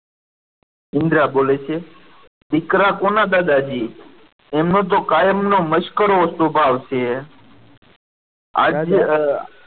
ઇન્દિરા બોલે છે દીકરા કોના દાદાજી એમને તો કાયમનો મસ્કરો સ્વભાવ છે આજે